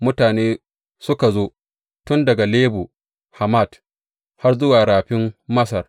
Mutane suka zo, tun daga Lebo Hamat har zuwa Rafin Masar.